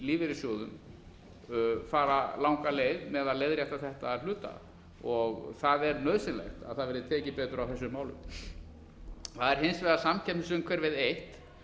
lífeyrissjóðum fara langa leið með að leiðrétta þetta að hluta og það er nauðsynlegt að það verði tekið betur á þessum málum það er hins vegar samkeppnisumhverfið eitt